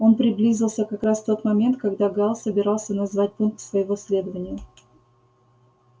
он приблизился как раз в тот момент когда гаал собирался назвать пункт своего следования